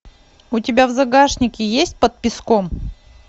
у тебя в загашнике есть под песком